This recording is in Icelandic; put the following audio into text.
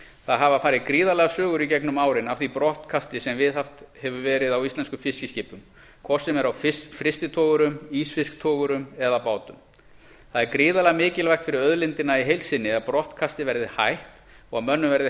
það hafa farið gríðarlegar sögur í gegnum árin af því brottkasti sem viðhaft hefur verið á íslenskum fiskiskipum hvort sem er á frystitogurum ísfisktogurum eða bátum það er gríðarlega mikilvægt fyrir auðlindina í heild sinni að brottkasti verði hætt og að mönnum verði